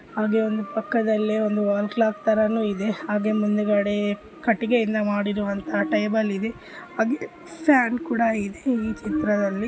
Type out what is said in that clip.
ಹಾಗೆ ಪಕ್ಕದಲ್ಲಿ ಒಂದು ವಾಲ್ ಕ್ಲಾಕ್ ಕೂಡ ಇದೆ ಹಾಗೆ ಮುಂದುಗಡೆ ಕಟ್ಟಿಗೆಯಿಂದ ಮಾಡಿರುವಂತಹ ಟೇಬಲ್ ಇದೆ ಹಾಗೆ ಫ್ಯಾನ್ ಕೂಡ ಇದೆ ಈ ಚಿತ್ರದಲ್ಲಿ.